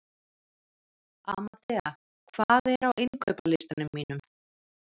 Amadea, hvað er á innkaupalistanum mínum?